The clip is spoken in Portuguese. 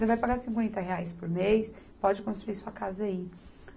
Você vai pagar cinquenta por mês, pode construir sua casa aí.